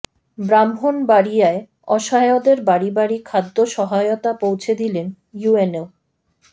ব্রাহ্মণবাড়িয়ায় অসহায়দের বাড়ি বাড়ি খাদ্য সহায়তা পৌঁছে দিলেন ইউএনও